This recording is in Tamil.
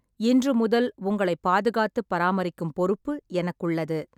இன்று முதல் உங்களைப் பாதுகாத்துப் பராமரிக்கும் பொறுப்பு எனக்கு உள்ளது.